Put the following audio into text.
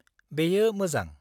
बेयो मोजां।